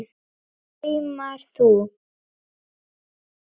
Saumar þú?